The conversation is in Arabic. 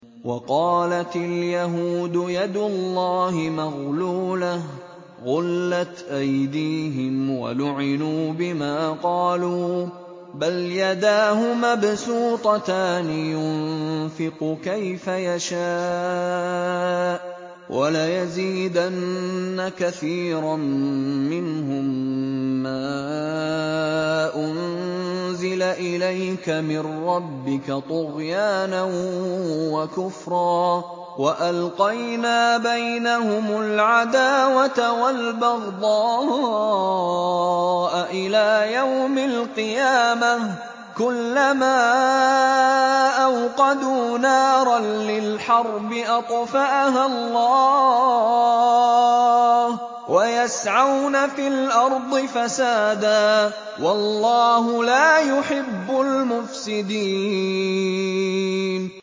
وَقَالَتِ الْيَهُودُ يَدُ اللَّهِ مَغْلُولَةٌ ۚ غُلَّتْ أَيْدِيهِمْ وَلُعِنُوا بِمَا قَالُوا ۘ بَلْ يَدَاهُ مَبْسُوطَتَانِ يُنفِقُ كَيْفَ يَشَاءُ ۚ وَلَيَزِيدَنَّ كَثِيرًا مِّنْهُم مَّا أُنزِلَ إِلَيْكَ مِن رَّبِّكَ طُغْيَانًا وَكُفْرًا ۚ وَأَلْقَيْنَا بَيْنَهُمُ الْعَدَاوَةَ وَالْبَغْضَاءَ إِلَىٰ يَوْمِ الْقِيَامَةِ ۚ كُلَّمَا أَوْقَدُوا نَارًا لِّلْحَرْبِ أَطْفَأَهَا اللَّهُ ۚ وَيَسْعَوْنَ فِي الْأَرْضِ فَسَادًا ۚ وَاللَّهُ لَا يُحِبُّ الْمُفْسِدِينَ